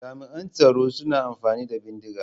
Jami'an tsaro suna amfani da bindiga.